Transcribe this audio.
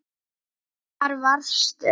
Hvar varstu?